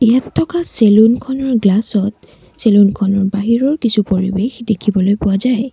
ইয়াত থকা চেলুনখনৰ গ্লাছ ত চেলুনখনৰ বাহিৰৰ কিছু পৰিবেশ দেখিবলৈ পোৱা যায়।